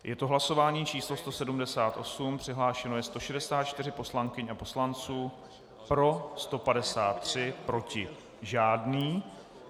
Je to hlasování číslo 178, přihlášeno je 164 poslankyň a poslanců, pro 153, proti žádný.